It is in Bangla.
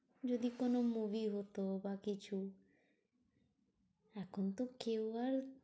যদি কোনো movie হতো বা কিছু? এখন তো কেউ আর